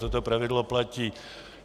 Toto pravidlo platí.